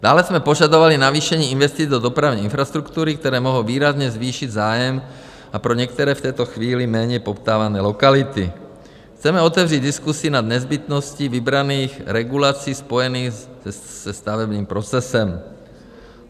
Dále jsme požadovali navýšení investic do dopravní infrastruktury, které mohou výrazně zvýšit zájem, a pro některé v této chvíli méně poptávané lokality chceme otevřít diskusi nad nezbytností vybraných regulací spojených se stavebním procesem.